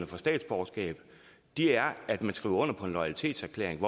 for statsborgerskab er at man skriver under på en loyalitetserklæring